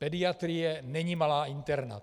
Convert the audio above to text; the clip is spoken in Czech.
Pediatrie není malá interna.